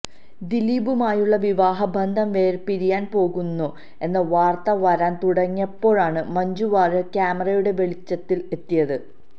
ദിലീപുമായുള്ള വിവാഹ ബന്ധം വേര്പിരിയാന് പോകുന്നു എന്ന വാര്ത്തകള് വരാന് തുടങ്ങിയപ്പോഴാണ് മഞ്ജു വാര്യര് ക്യാമറയുടെ വെളിച്ചത്തില് എത്തിയത്